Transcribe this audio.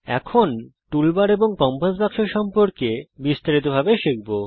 এখন toolbar এবং compass বাক্স সম্পর্কে আরো বিস্তারিতভাবে জানব